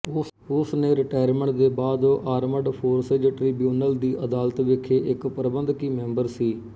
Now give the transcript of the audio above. ਉਸ ਨੇ ਰਿਟਾਇਰਮਟ ਦੇ ਬਾਅਦ ਆਰਮਡ ਫੋਰਸਿਜ਼ ਟ੍ਰਿਬਿਊਨਲ ਦੀ ਅਦਾਲਤ ਵਿਖੇ ਇੱਕ ਪ੍ਰਬੰਧਕੀ ਮੈਂਬਰ ਸੀ